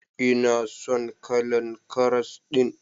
Ina son kalan karas din.